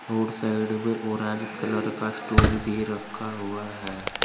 और साइड में orange colour का स्टूल भी रखा हुआ है।